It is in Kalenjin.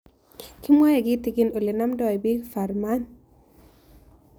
Kimwae kitigin ole namdoi piik Fuhrmann